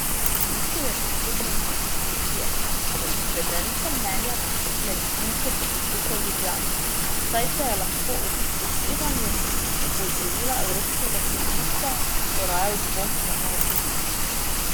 Mislil je predvsem na mnenje komisije za izvedenska mnenja medicinske fakultete v Ljubljani, saj se lahko ob upoštevanju opozorila evropskega sodišča poraja dvom o neodvisnosti.